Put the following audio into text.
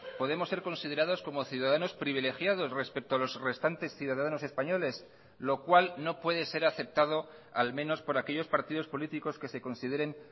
podemos ser considerados como ciudadanos privilegiados respecto a los restantes ciudadanos españoles lo cual no puede ser aceptado al menos por aquellos partidos políticos que se consideren